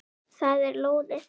Það er lóðið.